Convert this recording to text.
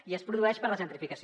i es produeix per la gentrificació